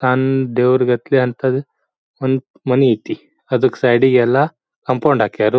ತಾನು ದೇವ್ರಿಗಟ್ಲೆ ಅಂಥದ್ ಒಂದ್ ಮನಿ ಐತಿ. ಅದಕ್ಕ್ ಸೈಡ್ ಇಗೆಲ್ಲ ಕಾಂಪೌಂಡ್ ಹಾಕ್ಯರು.